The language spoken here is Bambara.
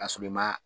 Ka sɔrɔ i ma